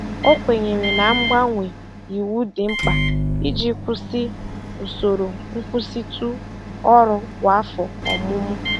O kwenyere na mgbanwe iwu dị mkpa iji kwụsị usoro nkwụsịtụ ọrụ kwa afọ ọmụmụ.